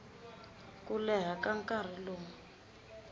ku leha ka nkarhi lowu